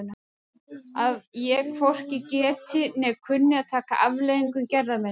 Að ég hvorki geti né kunni að taka afleiðingum gerða minna?